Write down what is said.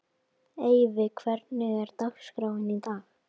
Eyfi, hvernig er dagskráin í dag?